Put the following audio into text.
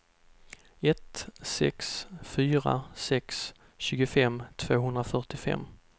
ett sex fyra sex tjugofem tvåhundrafyrtiofem